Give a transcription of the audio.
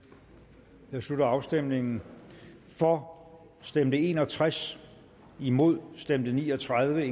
der slutter afstemningen for stemte en og tres imod stemte ni og tredive